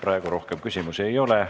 Praegu rohkem küsimusi ei ole.